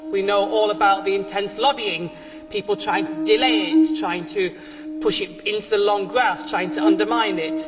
We know all about the intense lobbying and people trying to delay it, trying to push it into the long grass and to undermine it.